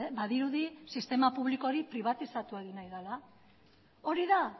badirudi sistema publiko hori pribatizatu egin nahi dela hori da